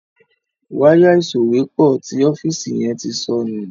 Wáyà ìsòwépọ̀ tí ọ́fíìsì yen tí sọnù.